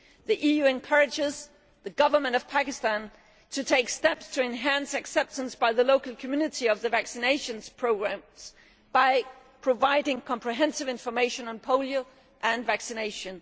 The EU encourages the government of Pakistan to take steps to enhance acceptance by the local community of the vaccination programmes by providing comprehensive information on polio and vaccination.